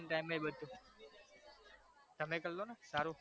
બધુ તમે કર લો ને સારુ